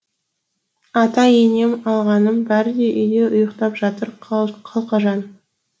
ата енем алғаным бәрі де үйде ұйықтап жатыр қалқажан